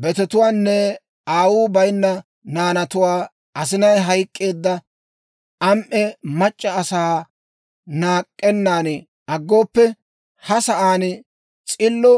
betetuwaanne aawuu bayinna naanatuwaa, asinay hayk'k'eedda am"e mac'c'a asaa naak'k'ennan aggooppe, ha sa'aan s'illo